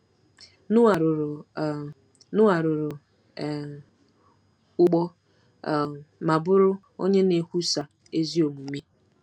Noa rụrụ um Noa rụrụ um ụgbọ um ma bụrụ “onye na-ekwusa ezi omume.”